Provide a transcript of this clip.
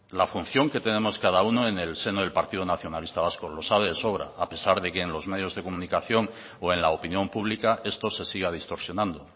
la función que tenemos cada uno en el seno del partido nacionalista vasco lo sabe de sobra a pesar de que en los medios de comunicación o en la opinión pública esto se siga distorsionando